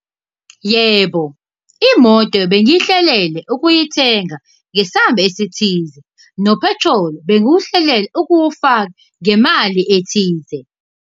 Yebo, imoto bengiyihlelele ukuyithenga ngesamba esithize, nophethroli bengiwuhlelele ukuwufaka ngemali ethize.